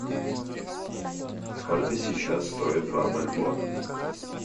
сколько сейчас стоит два бальбоа